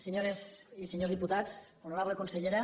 senyores i senyors diputats honorable consellera